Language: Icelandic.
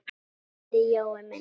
Kæri Jói minn!